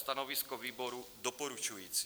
Stanovisko výboru doporučující.